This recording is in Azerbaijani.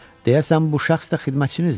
Deyəsən bu şəxs də xidmətçinizdir.